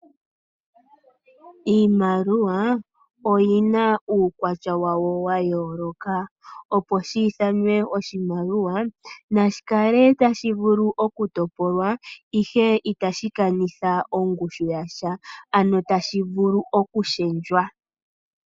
Iimaliwa oyina uukwatya wawo wayooloka . Opo shiithanwe oshimaliwa nashi kale tashi vulu okutopolwa , ihe itashi kanitha ongushu yasha, ano tashi vulu okushendjwa.